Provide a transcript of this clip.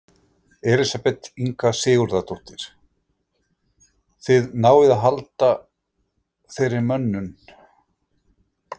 Elísabet Inga Sigurðardóttir: Þið náið að halda þeirri mönnun?